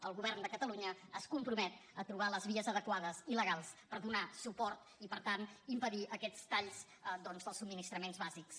el govern de catalunya es compromet a trobar les vies adequades i legals per donarhi suport i per tant impedir aquests talls doncs dels subministraments bàsics